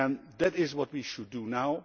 That is what we should do now.